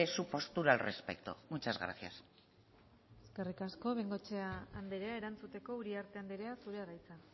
su postura al respecto muchas gracias eskerrik asko bengoechea andrea erantzuteko uriarte andrea zurea da hitza